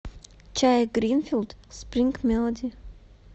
чай гринфилд спринг мелоди